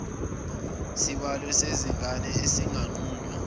sibalo sezingane esinganqunywa